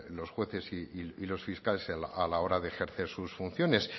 los jueces y los fiscales a la hora de ejercer sus funciones